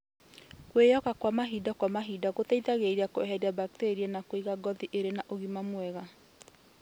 Kwĩyoga mahinda kwa mahinda nĩgũteithagia kweheria mbakteria na kũiga ngothi ĩrĩna ũgima mwega